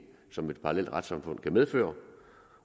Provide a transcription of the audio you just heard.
som et parallelt retssamfund kan medføre